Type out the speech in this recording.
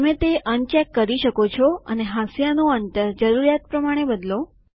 તમે તે અનચેક કરી શકો છો અને હાંસિયાનું અંતર જરૂરિયાત પ્રમાણે બદલો